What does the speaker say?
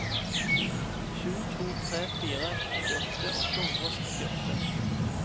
sju to tre fire femtiåtte åtte hundre og sekstiåtte